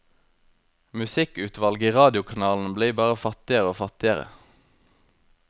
Musikkutvalget i radiokanalene blir bare fattigere og fattigere.